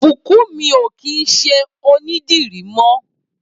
Bunmi ó kìn ṣiṣẹ ónìdìrí mọ